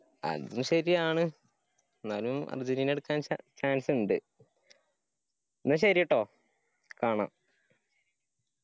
അതും ശെരിയാണ് എന്നാലും അര്ജന്റീന എടുക്കാൻ chan chance ഇണ്ട്. എന്നാ ശെരി ട്ടോ. കാണാം.